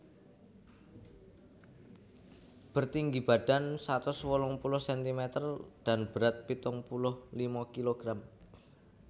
Bertinggi badan satus wolung puluh sentimeter dan berat pitung puluh lima kilogram